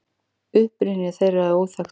Uppruni þeirra er óþekktur.